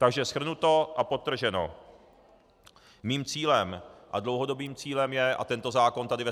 Takže shrnuto a podtrženo, mým cílem, a dlouhodobým cílem, je, a tento zákon tady ve